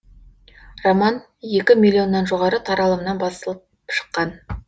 роман екі миллионнан жоғары таралымнан басылып шыққан